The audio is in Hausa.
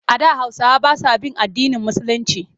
A da Hausawa ba sa bin addinin Musulinci.